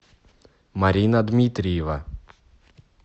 марина дмитриева